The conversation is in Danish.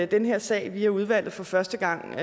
den her sag via udvalget for første gang